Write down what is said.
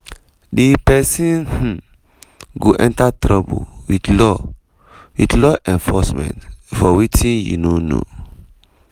di pesin um go enter trouble wit law wit law enforcement for wetin you no know."